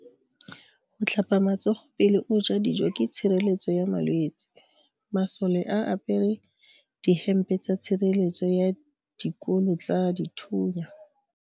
Go tlhapa matsogo pele o ja dijo ke tshireletso ya malwetse. Masole a apere dihempe tsa tshireletso ya dikolo tsa dithunya.